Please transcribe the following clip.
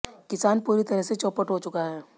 किसान पूरी तरह से चौपट हो चुका है